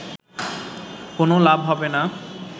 কোনো লাভ হবে না